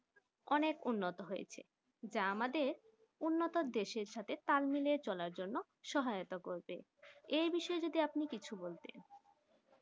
অনেক উন্নত হয়েছে যা আমাদের উন্নত দেশের সাথে তাল মিলিয়ে চলার জন্য সহায়তা করবে এই বিষয়ে কিছু আপনি বলতেন